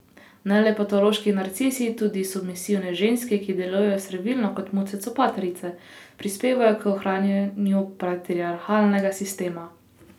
Ne le patološki narcisi, tudi submisivne ženske, ki delujejo servilno kot muce copatarice, prispevajo k ohranjanju patriarhalnega sistema.